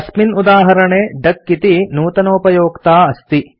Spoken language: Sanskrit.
अस्मिन् उदाहरणे डक इति नूतनोपयोक्ता अस्ति